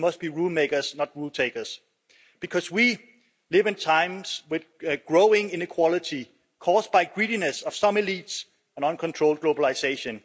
We must be rule-makers, not rule-takers, because we live in times with growing inequality caused by the greediness of some elites and uncontrolled globalisation.